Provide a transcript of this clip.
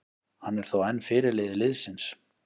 Hann er þó enn fyrirliði liðsins.